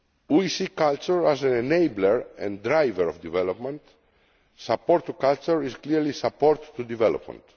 We see culture as an enabler and driver of development. Support to culture is clearly support to development.